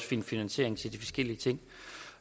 finde finansiering til de forskellige ting